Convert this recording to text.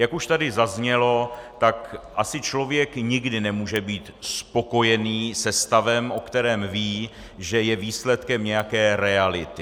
Jak už tady zaznělo, tak asi člověk nikdy nemůže být spokojený se stavem, o kterém ví, že je výsledkem nějaké reality.